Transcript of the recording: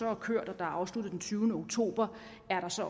er kørt og afsluttet den tyvende oktober